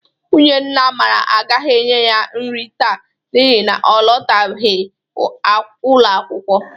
Nwunye nna Amara agaghi enye ya nri taa n'ihi na ọ lụtabeghi ụlọakwụkwọ.